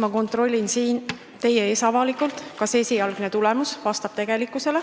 Ma kontrollin siin teie ees avalikult, kas esialgne hääletamistulemus vastab tegelikkusele,